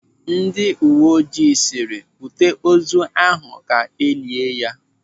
Ndị uwe ojii sịrị, "Bute ozu ahụ ka elia ya!"